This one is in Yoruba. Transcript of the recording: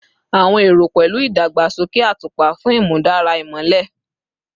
Awọn ero pẹlu igbegasoke atupa fun imudara imọlẹ